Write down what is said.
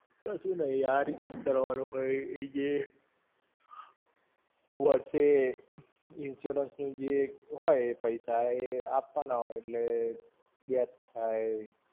કશું નહિ, આ રીતે જ કરવાનું હોય, એ જે વર્ષે, insurance નું જે હોય એ પૈસા એ આપવાના હોય એટલે death થાય.